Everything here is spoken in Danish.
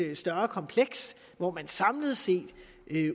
større kompleks hvor man samlet set